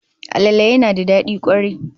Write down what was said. Alale yana da dadi kwarai